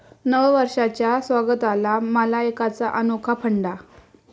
नववर्षाच्या स्वागताला मलायकाचा अनोखा फंडा